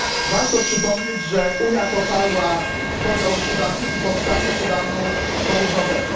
Warto przypomnieć, że Unia poparła podział Sudanu i powstanie Sudanu Południowego.